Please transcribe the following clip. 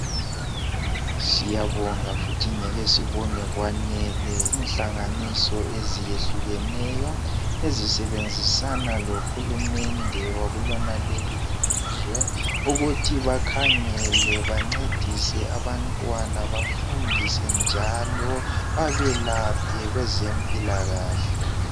siyabonga futhi njalo ngeke sibone kwanele inhlanganiso eziyehlukeneyo ezisebenzisana lo hulumende wakulonaleli ilizwe ukuthi bakhangele bancedise abantwana bafundise njalo babelaphe kwezempilakahle